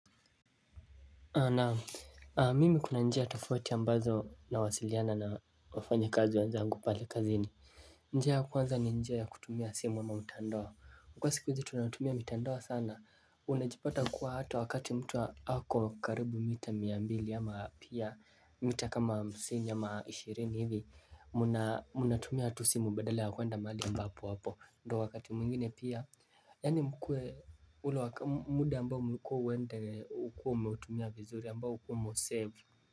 Naam mimi kuna njia tafoti ambazo na wasiliana na wafanya kazi wenzangu pale kazini. Njia ya kuwanza ni njia ya kutumia simu au mtandao kwa siki hzi tunatumia mitandawa sana. Unajipata kuwa hata wakati mtu hako karibu mita miambili ama pia. Mita kama msini ama ishirini hivi Munatumia hatu simu badale ya kuwenda mali ambapo wapo ndo wakati mwingine pia. Yani mkwe muda ambao mkwe wende ukua umeutumia vizuri ambao ukua mosev.